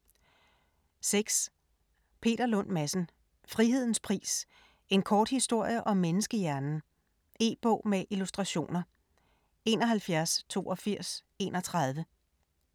6. Lund Madsen, Peter: Frihedens pris - en kort historie om menneskehjernen E-bog med illustrationer 718231